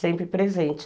Sempre presente.